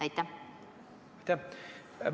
Aitäh!